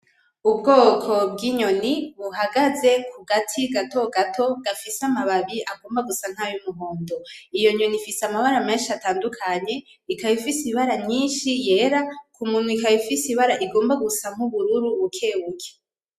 Ubwoko bw'inyoni buhagaze kugati gatogato gafise amababi agomba gusa nkay'umuhondo. Iyonyoni ifise amabara menshi atandukanye ikaba ifise ibara nyinshi yera kumunwa ikaba ifise ibara rigomba gusa nk'ubururu bukebuke.